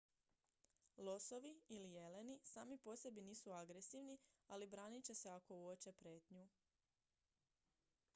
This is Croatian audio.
losovi ili jeleni sami po sebi nisu agresivni ali branit će se ako uoče prijetnju